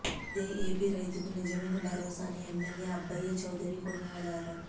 ఇదే ఏపీ రైతుకు నిజమైన భరోసా అని ఎమ్మెల్యే అబ్బయ్య చౌదరి కొనియాడారు